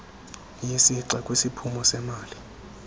yesixa kwisiphumo semali